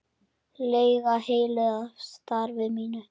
lega heilluð af starfi mínu.